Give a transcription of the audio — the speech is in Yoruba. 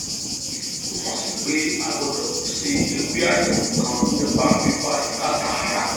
èyí túmọ sí pé a gbọdọ pèsè ewé àyẹwò kan nípa fífa ìka tààrà